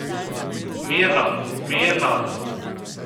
Mirno, mirno!